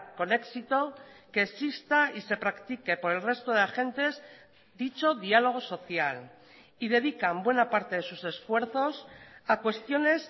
con éxito que exista y se practique por el resto de agentes dicho diálogo social y dedican buena parte de sus esfuerzos a cuestiones